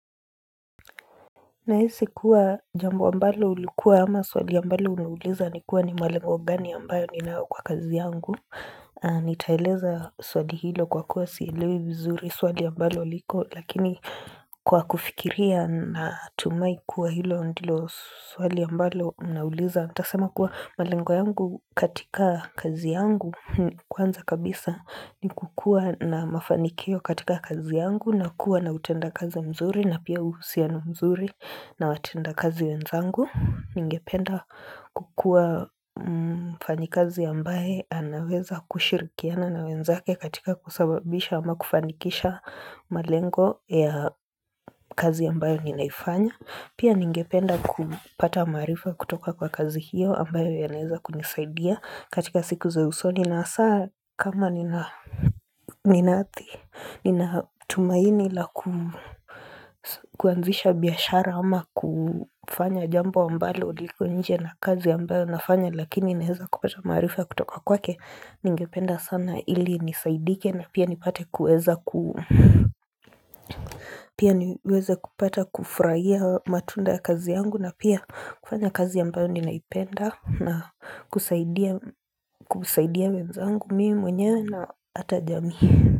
Na hisi kuwa jambo ambalo ulikuwa ama swali ambalo umeuliza ni kuwa ni malengo gani ambayo ninayo kwa kazi yangu. Nitaeleza swali hilo kwa kuwa sielewi vizuri swali ambalo liko. Lakini kwa kufikiria na tumai kuwa hilo ndilo swali ambalo unauliza. Nitasema kuwa malengo yangu katika kazi yangu kwanza kabisa ni kukua na mafanikio katika kazi yangu na kuwa na utenda kazi mzuri na pia uhusiano mzuri. Na watenda kazi wenzangu, ningependa kukua mfanya kazi ambaye anaweza kushirikiana na wenzake katika kusababisha ama kufanikisha malengo ya kazi ambayo ninaifanya Pia ningependa kupata maarifa kutoka kwa kazi hiyo ambayo yanaweza kunisaidia katika siku za usoni na saa kama Ninatumaini la kuanzisha biashara ama kufanya jambo ambalo liko nje na kazi ambayo nafanya lakini neweza kupata maarifa kutoka kwake Ningependa sana ili nifaidike na pia ni pate kuweza kufurahia matunda ya kazi yangu na pia kufanya kazi yambayo ninaipenda na kusaidia wenzangu mimi mwenyewe na hata jamii.